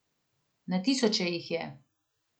Na tisoče jih je.